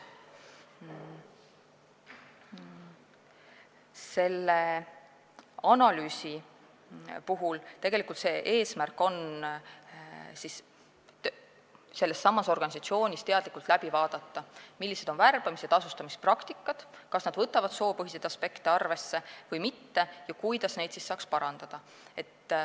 Selle analüüsi tegelik eesmärk on sellessamas organisatsioonis teadlikult vaadata, millised on värbamis- ja tasustamispraktikad, kas nad võtavad soopõhiseid aspekte arvesse või mitte ja kuidas neid saaks parandada.